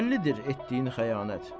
Bəllidir etdiyin xəyanət.